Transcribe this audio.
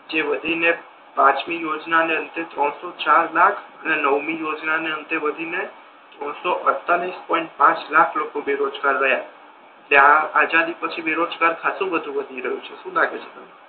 જે વધી ને પંચમી યોજના ને અંતે ત્રણસો ચાર લાખ અને નવમી યોજના ને અંતે વધીને ત્રણસો અડતાલીસ પોઈન્ટ પાંચ લાખ લોકો બેરોજગાર રહ્યા તે આ આઝાદી પછી બેરોજગાર ખાસો બધો વધી ગયો શું લાગે છે તમને?